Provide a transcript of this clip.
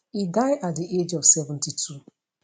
e die at di age of 72